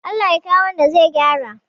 Allah ya kawo wanda zai gyara